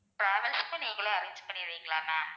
travels க்கும் நீங்களே arrange பண்ணிருவீங்களா ma'am